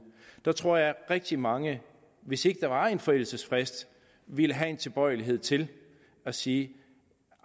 der tror jeg at rigtig mange hvis ikke der var en forældelsesfrist ville have en tilbøjelighed til at sige